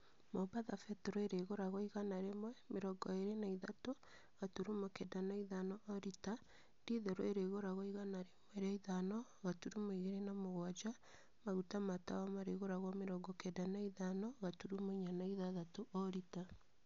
Mombatha betũrũ ĩrĩgũragwo igana rĩmwe, mĩrongo ĩrĩ na ithatũ, gaturumo kenda na ithano o rita. Dithũrũ ĩrĩgũragwo igana rĩmwe rĩa ithano, gaturumo igĩrĩ na mũgwanja. Maguta ma tawa marĩgũragwo mĩrongo kenda na ithano gaturumo inya na ithathatũ o rita.